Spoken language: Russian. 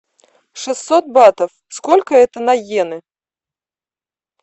шестьсот батов сколько это на йены